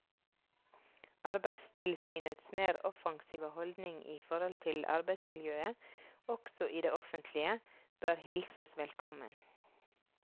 Arbeidstilsynets mer offensive holdning i forhold til arbeidsmiljøet også i det offentlige bør hilses velkommen.